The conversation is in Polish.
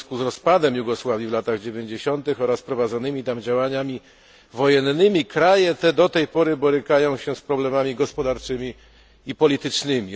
W związku z rozpadem Jugosławii w latach dziewięćdziesiątych oraz prowadzonymi tam działaniami wojennymi, kraje te do tej pory borykają się z problemami gospodarczymi i politycznymi.